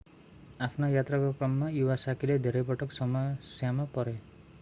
आफ्नो यात्राको क्रममा इवासाकीiwasaki ले धेरै पटक समस्यामा परे।